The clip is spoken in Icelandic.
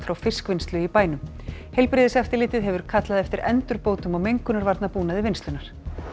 fiskvinnslu í bænum heilbrigðiseftirlitið hefur kallað eftir endurbótum á mengunarvarnabúnaði vinnslunnar